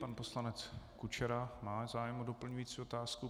Pan poslanec Kučera má zájem o doplňující otázku.